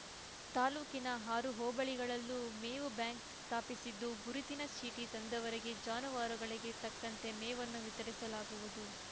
ತಾಲ್ಲೂಕಿನ ಆರು ಹೋಬಳಿಗಳಲ್ಲೂ ಮೇವು ಬ್ಯಾಂಕ್ ಸ್ಥಾಪಿಸಿದ್ದು ಗುರುತಿನ ಚೀಟಿ ತಂದವರಿಗೆ ಜಾನುವಾರುಗಳಿಗೆ ತಕ್ಕಂತೆ ಮೇವನ್ನು ವಿತರಿಸಲಾಗುವುದು